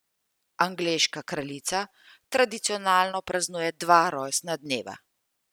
Angleška kraljica tradicionalno praznuje dva rojstna dneva.